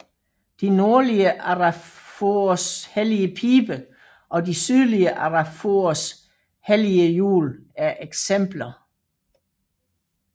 De nordlige arapahoers hellige pibe og de sydlige arapahoers hellige hjul er eksempler